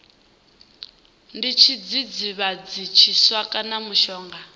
ndi tshidzidzivhadzi tshiswa kana mushonga